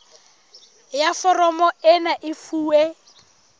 ya foromo ena e fuwe